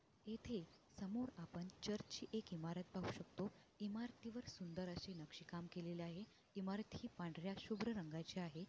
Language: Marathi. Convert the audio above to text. इथे समोर आपण चर्च ची एक इमारत पाहू शकतो इमारतीवर सुंदर अशे नक्षीकाम केलेलं आहे इमारत हि पांढर्‍या शुभ्र रंगाची आहे.